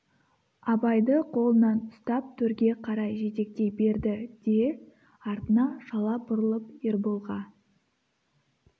абайды қолынан ұстап төрге қарай жетектей берді де артына шала бұрылып ерболға